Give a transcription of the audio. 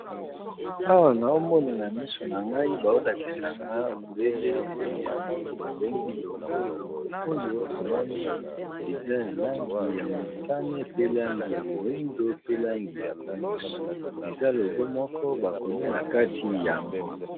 Awa naomona na misu na ngai bao lakisanga obele eloko moko babengi logo logo oyo na moni eza ya langi ya motane pe langi ya moyindo pe langi ya pembe eza logo moko bakomi na kati yango.